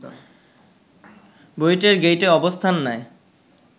বুয়েটের গেইটে অবস্থান নেয়